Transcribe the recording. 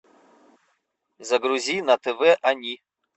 загрузи на тв они